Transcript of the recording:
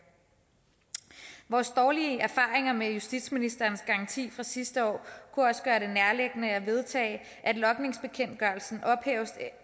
vores dårlige erfaringer med justitsministerens garanti fra sidste år kunne også gøre det nærliggende at vedtage at logningsbekendtgørelsen ophæves